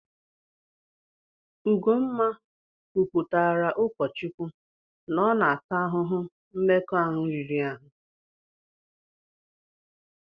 Ugomma kwuputaara ụkọ Chukwu na ọ na-ata ahụhụ mmekọahụ riri ahụ.